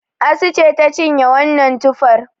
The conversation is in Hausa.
Asu ce ta cinye wannan tufar